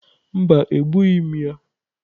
Mba, egbughị m ya.